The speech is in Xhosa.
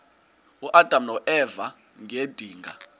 uadam noeva ngedinga